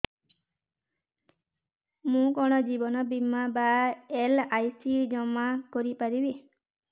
ମୁ କଣ ଜୀବନ ବୀମା ବା ଏଲ୍.ଆଇ.ସି ଜମା କରି ପାରିବି